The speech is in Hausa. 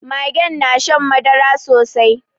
Magen na shan madara sosai